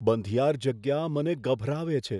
બંધિયાર જગ્યા મને ગભરાવે છે.